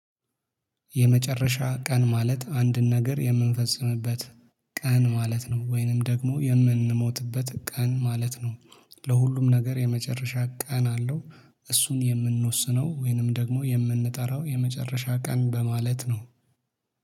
የመጨረሻ ቀን ማለት አንድን ነገር የምንፈጽምበት ቀን ማለት ነው። ወይንም ደግሞ የምንሞትበት ቀን ማለት ነው። ለሁሉም ነገር የመጨረሻ ቀን አለው። እሱን የምንወስነው ወይንም ደግሞ የምንጠራው የመጨረሻ ቀን በማለት ነው።